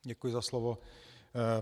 Děkuji za slovo.